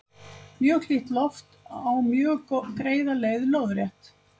Mjög hlýtt loft á mjög greiða leið lóðrétt.